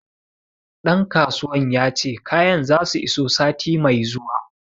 Ɗan kasuwan ya ce kayan za su iso sati mai zuwa